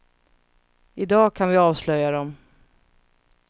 I dag kan vi avslöja dem.